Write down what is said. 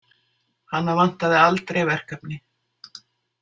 Hana vantaði aldrei verkefni.